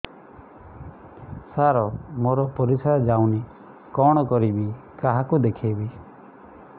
ସାର ମୋର ପରିସ୍ରା ଯାଉନି କଣ କରିବି କାହାକୁ ଦେଖେଇବି